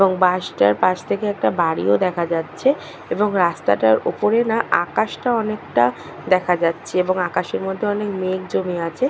এবং বাস টার পাশ থেকে একটা বাড়িও দেখা যাচ্ছে এবং রাস্তা টার ওপরে না আকাশটা অনেকটা দেখা যাচ্ছে এবং আকাশের মধ্যে অনেক মেঘ জমে আছে।